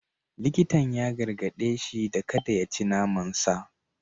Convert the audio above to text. Likitan ya gargade shi da kada ya ci naman sa.